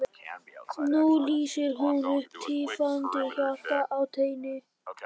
Nú lýsir hún upp tifandi hjarta á teini.